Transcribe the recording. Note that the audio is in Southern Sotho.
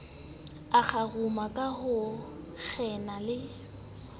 akgaruma ka ho kgena ho